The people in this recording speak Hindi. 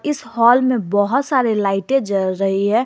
इस हाल में बहुत सारे लाइटें जल रही है।